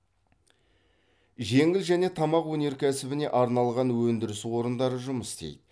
жеңіл және тамақ өнеркәсібіне арналған өндіріс орындары жұмыс істейді